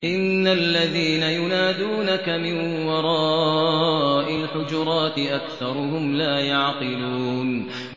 إِنَّ الَّذِينَ يُنَادُونَكَ مِن وَرَاءِ الْحُجُرَاتِ أَكْثَرُهُمْ لَا يَعْقِلُونَ